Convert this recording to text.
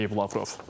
Deyib Lavrov.